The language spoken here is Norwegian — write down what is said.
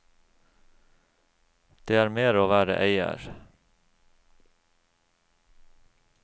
Det er mer å være eier.